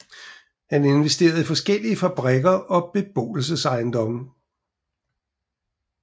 Han investerede i forskellige fabrikker og beboelsesejendomme